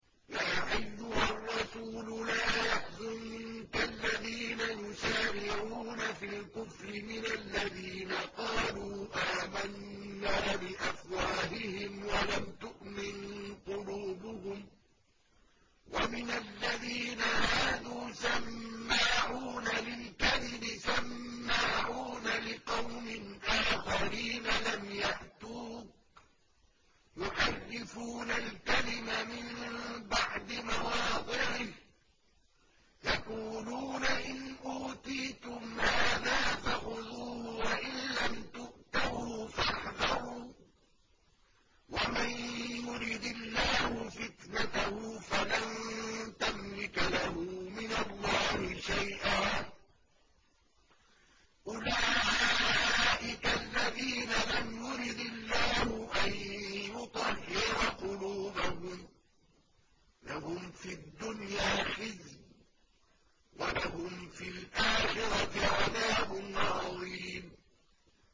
۞ يَا أَيُّهَا الرَّسُولُ لَا يَحْزُنكَ الَّذِينَ يُسَارِعُونَ فِي الْكُفْرِ مِنَ الَّذِينَ قَالُوا آمَنَّا بِأَفْوَاهِهِمْ وَلَمْ تُؤْمِن قُلُوبُهُمْ ۛ وَمِنَ الَّذِينَ هَادُوا ۛ سَمَّاعُونَ لِلْكَذِبِ سَمَّاعُونَ لِقَوْمٍ آخَرِينَ لَمْ يَأْتُوكَ ۖ يُحَرِّفُونَ الْكَلِمَ مِن بَعْدِ مَوَاضِعِهِ ۖ يَقُولُونَ إِنْ أُوتِيتُمْ هَٰذَا فَخُذُوهُ وَإِن لَّمْ تُؤْتَوْهُ فَاحْذَرُوا ۚ وَمَن يُرِدِ اللَّهُ فِتْنَتَهُ فَلَن تَمْلِكَ لَهُ مِنَ اللَّهِ شَيْئًا ۚ أُولَٰئِكَ الَّذِينَ لَمْ يُرِدِ اللَّهُ أَن يُطَهِّرَ قُلُوبَهُمْ ۚ لَهُمْ فِي الدُّنْيَا خِزْيٌ ۖ وَلَهُمْ فِي الْآخِرَةِ عَذَابٌ عَظِيمٌ